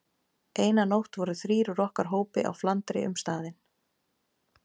Eina nótt voru þrír úr okkar hópi á flandri um staðinn.